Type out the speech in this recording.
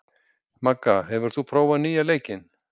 Magga, hefur þú prófað nýja leikinn?